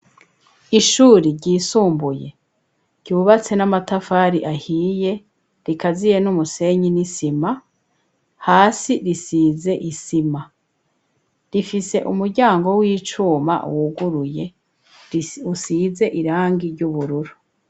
Ishuri, ryisumbuye, ryubatse n'Amatafari ahiye, rigaziye n'umusenyi n'isima, hasi risize isima, rifise Umuryango w'Icuma, wuguruye usize irangi ry'Ubururu.